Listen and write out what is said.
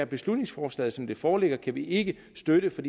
beslutningsforslaget som det foreligger kan vi ikke støtte for